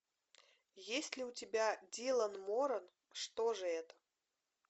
есть ли у тебя дилан моран что же это